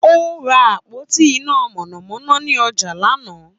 Ó ra àpótí iná mànàmáná ní ọjà lánàá.